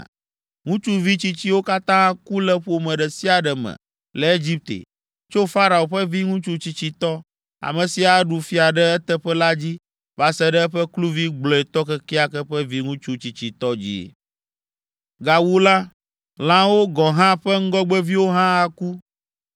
Ŋutsuvi tsitsiwo katã aku le ƒome ɖe sia ɖe me le Egipte, tso Farao ƒe viŋutsu tsitsitɔ, ame si aɖu fia ɖe eteƒe la dzi va se ɖe eƒe kluvi gblɔetɔ kekeake ƒe viŋutsu tsitsitɔ dzi. Gawu la, lãwo gɔ̃ hã ƒe ŋgɔgbeviwo hã aku.